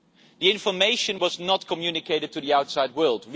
The information was not communicated to the outside world.